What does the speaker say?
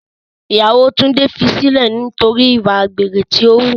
Ìyàwó Túndé fi sílẹ̀ nítorí ìwà àgbèrè tí o wù.